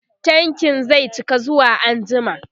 tankin zai cika zuwa anjima